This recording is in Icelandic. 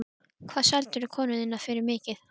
Hvað seldirðu konuna þína fyrir mikið?